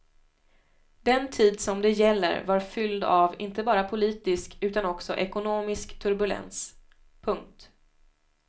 Den tid som det gäller var fylld av inte bara politisk utan också ekonomisk turbulens. punkt